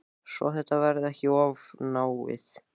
Svo þetta verði ekki of náið.